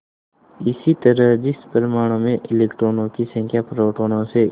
इसी तरह जिस परमाणु में इलेक्ट्रॉनों की संख्या प्रोटोनों से